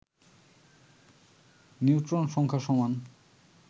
neutron সংখ্যা সমান